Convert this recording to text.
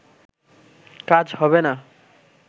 কাজ হবে না